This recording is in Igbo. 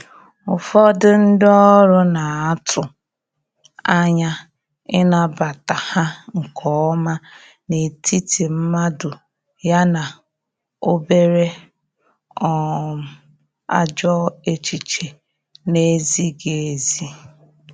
ụfọdụ ndi ọrụ n'atụ anya ịnabata ha nke ọma n’etiti mmadụ ya na obere um ajọ echiche na ezighi ezi